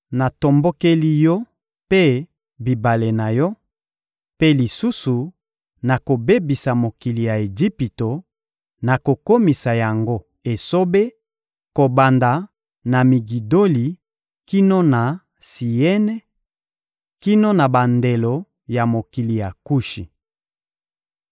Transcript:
natombokeli yo mpe bibale na yo; mpe lisusu, nakobebisa mokili ya Ejipito, nakokomisa yango esobe kobanda na Migidoli kino na Siene, kino na bandelo ya mokili ya Kushi.